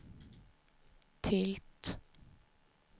tilt